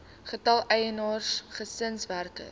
getal eienaars gesinswerkers